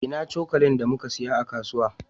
Ina cokalin da muka siyo a kasuwa?